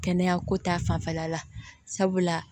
Kɛnɛya ko ta fanfɛla la sabula